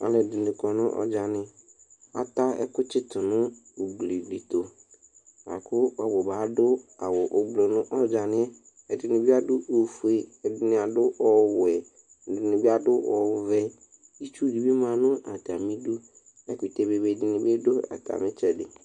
alʋɛdini dʋ ɔdzani ata ɛkʋtsitʋ nʋ ʋglidiɛtʋ akʋ ʋbʋba adʋ awʋ nʋ ɔdzaniɛ ɛdini adʋ oƒʋe ɛdini adʋ ɔwɛ ɛdinibi adʋ ɔvɛ itsʋʋ di ma nʋ atamidʋ ɛkʋtɛ bebe ɛdinibidʋ atami itsɛdi